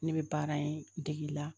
Ne bɛ baara in dege la